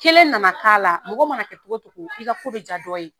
Kelen na na k'a la mɔgɔ mana kɛ togo togo i ka ko bɛ ja dɔ ye.